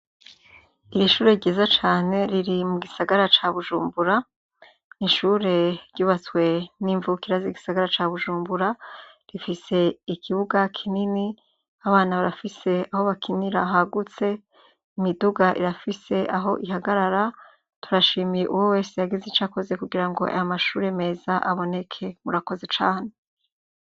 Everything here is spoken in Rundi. Ishure ryiza cane riri mu Gisagara ca Bujumbura , ishure ryubatswe nimvukira Zi gisagara ca Bujumbura rifise ikibuga kinini abana bafise aho bakinara imiduga irafise aho ihagarara .turashimiye uwo wese aya mashure neza aboneke murakoze cane.